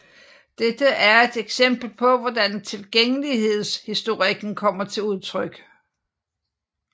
Dette er et eksempel på hvordan tilgængelighedsheuristikken kommer til udtryk